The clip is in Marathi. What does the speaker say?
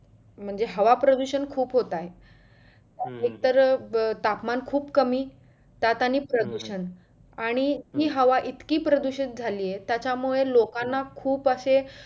म्हणजे हवा प्रदूषण खूप होत आहे. एक तर तापमान खूप कमी त्यात आणि प्रदुषण आणि ही हवा इतकी प्रदुषित झाली आहे त्याच्यामुळे लोकांना खुप असे